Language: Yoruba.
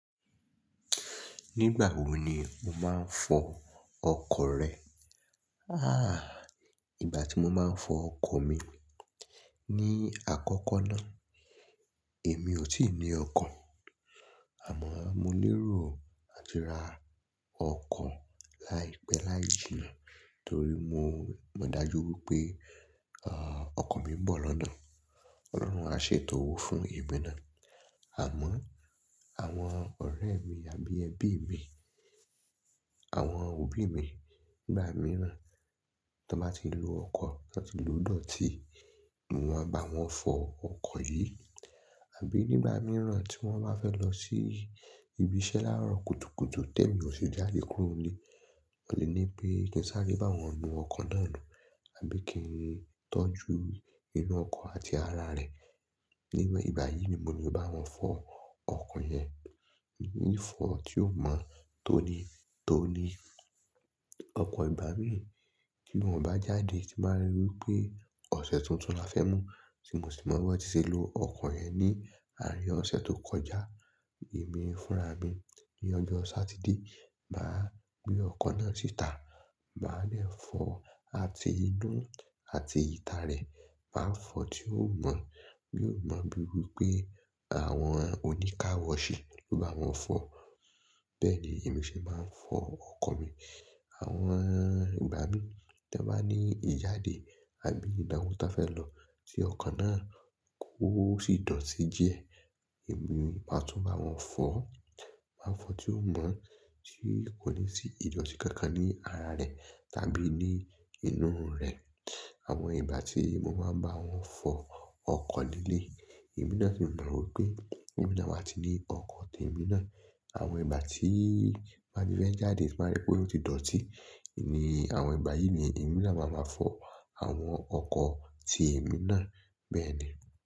Nígbà wo ni mo máa ń fọ ọkọ̀ rẹ? Àh! Ìgbà tí mo máa ń fọ ọkan mi. Ni àkọ́kọ́ náà èmi ò tíì ní ọkọ̀. Àmọ́ mo lérò láti ra ọkọ̀ láìpẹ́ layìíjina náà torí mo, mo dájú wípé ọ, ọkọ̀ mi ń bọ̀ lọ́nà. Ọlọ́run á ṣètò owó fún èmi náà. Àmọ́ àwọn ọ̀rẹ́ mi àbí ẹbí mi, àwọn òbí mi nígbà mìíràn tí wọ́n bá ti ń lo ọkọ̀, ti wọn ti lòó dọ̀tí, mo máa bá wọn fọ ọkọ̀ yìí. Àbí nígbà mìíràn tí wọ́n bá fẹ́ lọ sí ibi iṣẹ́ láàárọ̀ kùtùkùtù tẹ̀ mí ọ̀sì jáde kúrò nílé, wọ́n lè ní pé kí n sáré bá wọn nu ọkọ̀ náà nù àbí kí n tọ́jú inú ọkọ̀ àti ara rẹ̀. Ní ìgbà yìí ni mo le bá wọn fọ ọkọ̀ yẹn, ìfọ̀ tí o mọ́ tóní tóní. Ọkọ̀ ìgbà mí ì tí wọ́n bá jáde tí máa rí wípé ọ̀sẹ̀ tuntun la fẹ́ mú tí mo sì mọ̀ wípé ti ṣe lo ọkọ̀ yẹn ni àárín ọ̀sẹ̀ tó kọjá. Èmi fúnra mi ní ọjọ́ Satide, màá gbé ọkọ̀ náà síta, màá lẹ̀ fọ àti inú àti ìta rẹ̀. Màá fọ tí o mọ́. Mi ò mọ̀ bí wípé àwọn oníkàwọ́ ṣí ló bá wọn fọ̀. Bẹ́ẹ̀ ni èmi ṣe máa ń fọ ọkọ̀ mi. Àwọn ìgbà mí tí wọ́n bá ní ìjáde àbí ìdáwo tí a fẹ́ lọ tí ọkọ̀ náà kò sì dọ̀tí jẹ, èmi máa tún bá wọn fọ̀. Màá fọ tí o mọ́ tí kò ní sí ìdọ̀tí kankan ní ara rẹ̀ tàbí ní inú rẹ̀. Àwọn ìgbà tí mo máa ń bá wọn fọ ọkọ̀ nílé, èmi náà sì mọ̀ wípé èmi náà máa ti ní ọkọ̀ ti èmi náà. Àwọn ìgbà tí ì bá ti bẹ́ẹ̀ jáde tí máa rí pé ó ti dọ̀tí. Ní àwọn ìgbà yìí ni èmi náà máa ma fọ àwọn ọkọ̀ ti èmi náà. Bẹ́ẹ̀ ni.